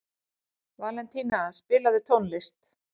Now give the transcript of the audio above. Valentína, spilaðu tónlist.